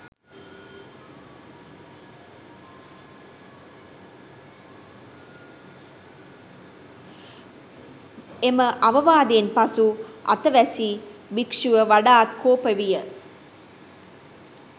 එම අවවාදයෙන් පසු අතවැසි භික්‍ෂුව වඩාත් කෝප විය.